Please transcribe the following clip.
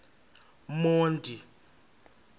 monti